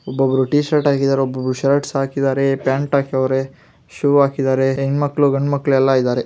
ಒಬ್ಬರು T shirt ಹಾಕಿದ್ದಾರೆ ಒಬ್ಬರು ಶರ್ಟ್ಸ ಹಾಕಿದ್ದಾರೆ ಪ್ಯಾಂಟ್ ಹಾಕೆವೆರೆ ಶೂ ಹಾಕಿದ್ದಾರೆ ಹೆಣ್ಣ ಮಕ್ಕಳ್ಳು ಗಂಡ ಮಕ್ಕಳು ಎಲ್ಲಾ ಇದ್ದಾರೆ .